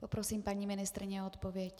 Poprosím paní ministryni o odpověď.